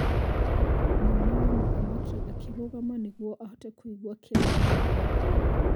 mwana wa mũthamaki akĩrũgama nĩguo ahote kũigua kĩrĩa endaga kuuga.